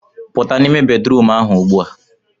Pụta n'ime bedrum ahụ ugbua